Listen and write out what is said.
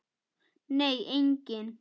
Nei, enginn.